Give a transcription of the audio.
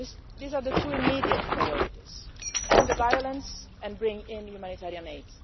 These are the two immediate priorities end the violence and bring in humanitarian aid.